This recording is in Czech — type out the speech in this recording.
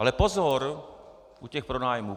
Ale pozor u těch pronájmů!